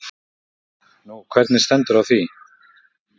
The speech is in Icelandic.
Kristján: Nú, hvernig stendur á því?